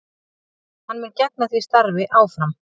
Hann mun gegna því starfi áfram